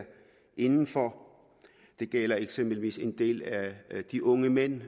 indenfor det gælder eksempelvis en del af de unge mænd